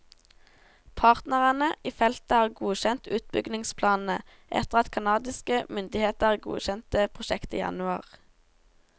Partnerne i feltet har godkjent utbyggingsplanene, etter at canadiske myndigheter godkjente prosjektet i januar.